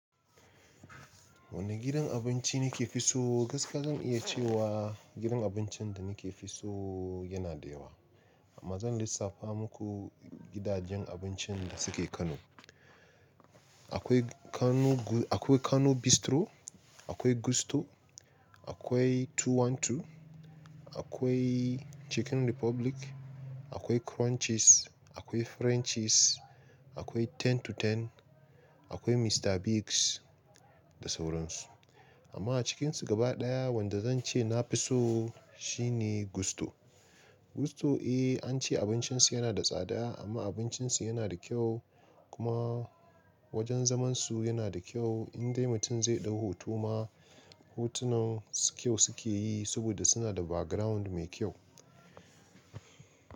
Wane gidan abinci nike fi so? Gaskiya zan iya cewa gidan abincin da nike fi so yana da yawa. Amma zan lissafa muku gidajen abincin da suke Kano. Akwai Kano Bistro, akwai Gusto, akwai Two One Two, akwai Chicken Republic, akwai Crunches, akwai Frenchies, akwai Ten to Ten, akwai Mister Biggs da sauran su. Amma a cikinsu gaba ɗaya wanda zan ce na fi so shine Gusto. Gusto, eh, an ce abincin su yana da tsada amma abincin su yana da kyau kuma wajen zaman su yana da kyau. In dai mutum zai ɗau hoto ma, hotunan su kyau suke yi saboda suna da background mai kyau.